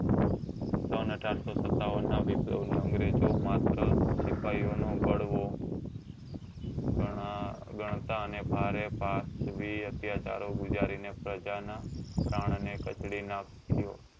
સન અઢારસો સત્તાવન નાં અંગ્રેજો માત્ર સિપાહી ઓ નો બળવો ગણતા અને ભારે પ્રાત્વી અત્યાચારો ગુજારી ને પ્રજા ના પ્રાણને કચડી નાખ્યો